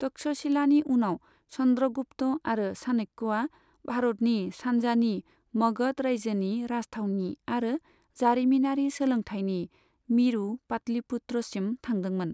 तक्षशिलानि उनाव चन्द्रगुप्त आरो चाणक्यया भारतनि सानजानि मगध रायजोनि राजथावनि आरो जारिमिनारि सोलोंथायनि मिरु पाटलिपुत्र सिम थांदोंमोन।